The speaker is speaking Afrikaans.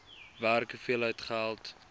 werk hoeveel geld